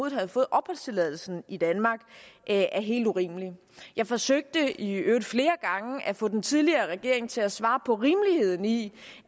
havde fået opholdstilladelse i danmark er helt urimelig jeg forsøgte i øvrigt flere gange at få den tidligere regering til at svare på rimeligheden i